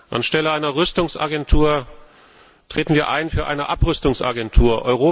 Anstelle einer Rüstungsagentur treten wir ein für eine Abrüstungsagentur.